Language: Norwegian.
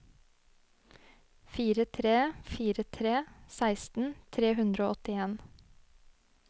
fire tre fire tre seksten tre hundre og åttien